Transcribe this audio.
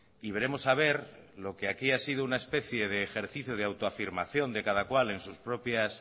y veremos a ver lo que aquí ha sido una especia de ejercicio de autoafirmación de cada cual en sus propias